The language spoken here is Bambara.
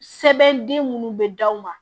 Sɛbɛn den minnu bɛ d'aw ma